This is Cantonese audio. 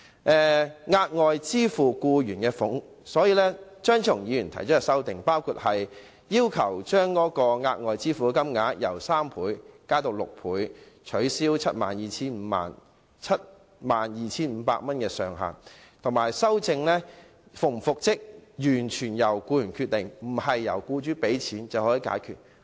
張超雄議員提出修正案，要求將額外款項的款額從僱員每月平均工資的3倍增至6倍、取消 72,500 元的上限，以及規定復職與否完全由僱員決定，不能由僱主付款便解決。